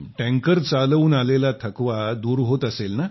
tanker चालवून आलेला थकवा दूर होत असेल